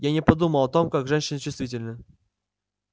я не подумал о том как женщины чувствительны